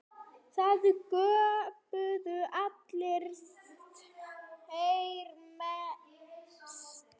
Það göptu allir, þeir mest.